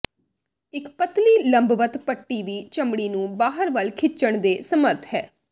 ਇੱਕ ਪਤਲੀ ਲੰਬਵਤ ਪੱਟੀ ਵੀ ਚਮੜੀ ਨੂੰ ਬਾਹਰ ਵੱਲ ਖਿੱਚਣ ਦੇ ਸਮਰੱਥ ਹੈ